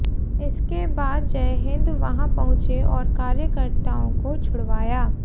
इसके बाद जयहिंद वहां पहुंचे और कार्यकर्ताओं को छुड़वाया